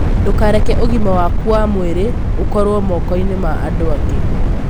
Ndũkareke ũgima waku wa mwĩrĩ ũkorũo moko-inĩ ma andũ angĩ.